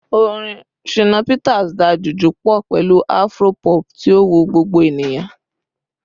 Orin Shina Peters da Juju pọ pẹlu Afro-pop, ti o wu gbogbo eniyan